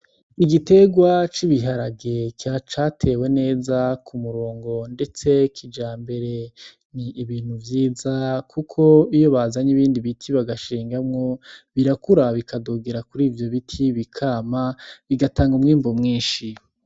Igiterwa c'ibiharage catewe neza ku murongo ndetse kijambere n'ibintu vyiza kuko iyo bazanye ibindi biti bagashingamwo birakura bikadugira kuri ivyo biti bikama bigatanga umwimbu mwishi.